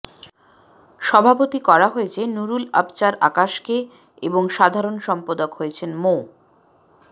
সভাপতি করা হয়েছে নুরুল আবচার আকাশকে এবং সাধারণ সম্পাদক হয়েছেন মো